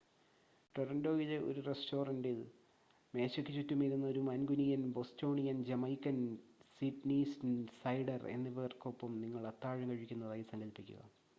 ടൊറൻ്റോയിലെ ഒരു റെസ്റ്റോറൻ്റിൽ മേശയ്ക്കു ചുറ്റും ഇരുന്ന് ഒരു മാൻകുനിയൻ ബോസ്റ്റോണിയൻ ജമൈക്കൻ സിഡ്‌നിസൈഡർ എന്നിവർക്കൊപ്പം നിങ്ങൾ അത്താഴം കഴിക്കുന്നതായി സങ്കൽപ്പിക്കുക